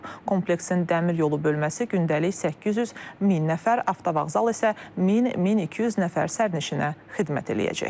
Kompleksin dəmir yolu bölməsi gündəlik 800 min nəfər, avtovağzal isə 1000-1200 nəfər sərnişinə xidmət eləyəcək.